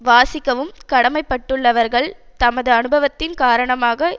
வாசிக்கவும் கடமைப்பட்டுள்ளவர்கள் தமது அனுபவத்தின் காரணமாக